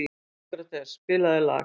Sókrates, spilaðu lag.